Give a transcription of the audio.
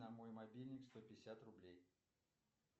на мой мобильник сто пятьдесят рублей